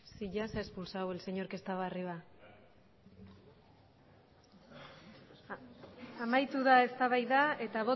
sí ya se ha expulsado al señor que estaba arriba amaitu da eztabaida eta